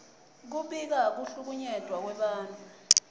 kubika kuhlukunyetwa kwebantfu